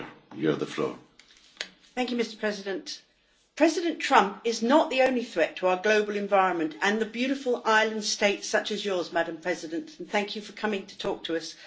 Mr President, President Trump is not the only threat to our global environment and the beautiful island states such as yours, President Heine, and thank you for coming to talk to us.